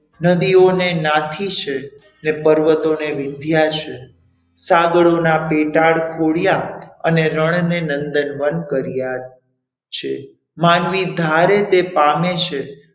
નદીઓને નાથી છે, અને પર્વતોને વિંધ્યા છે, સાગરોના પેટાડ પૂર્યા અને રણને નંદનવન કર્યા છે. માનવી ધારે તે પામે છે.